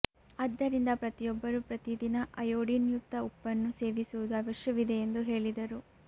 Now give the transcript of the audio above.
ಆದ್ದರಿಂದ ಪ್ರತಿಯೊಬ್ಬರು ಪ್ರತಿದಿನ ಅಯೋಡಿನಯುಕ್ತ ಉಪ್ಪನ್ನು ಸೇವಿಸುವುದು ಅವಶ್ಯವಿದೆ ಎಂದು ಹೇಳಿದರು